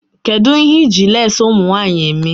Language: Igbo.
Kedụ ihe iji leesi ụmụnwanyị eme?